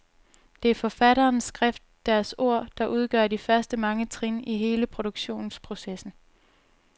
Det er forfatteres skrift, deres ord, der udgør de første mange trin i hele produktionsprocessen.